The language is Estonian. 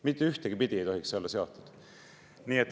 Mitte ühtegi pidi ei tohiks see olla seotud.